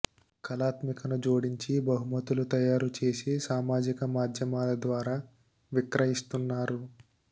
కళాత్మకతను జోడించి బహుమతులు తయారు చేసి సామాజిక మాద్యమాల ద్వారా విక్రయిస్తున్నారు